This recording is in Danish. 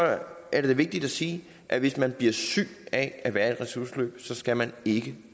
er det da vigtigt at sige at hvis man bliver syg af at være i et ressourceforløb skal man ikke